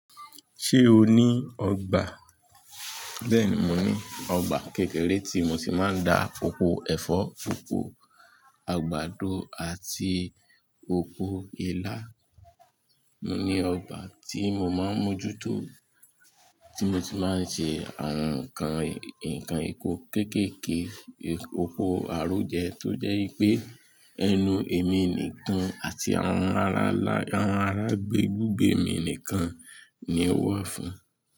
Ṣé o ní ọgbà? Bẹ́ẹ̀ni, mo ní ọgbà kékeré tí mo ti máa ń dá oko ẹ̀fọ́, pọ̀pọ̀ àgbàdo àti oko ilá. Mo ní ọgbà tí mo máa ń mójútó, tí mo ti máa ń ṣe àwọn nǹkan ìkó kéékèèké oko aró jẹ tó jẹ́ pé ẹnu èmi nìkan àti àwọn ará ibùgbé mi nìkan ni ó wà fún.